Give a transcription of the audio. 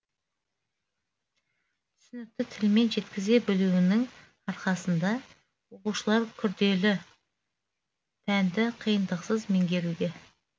түсінікті тілмен жеткізе білуінің арқасында оқушылар күрделі пәнді қиындықсыз меңгеруде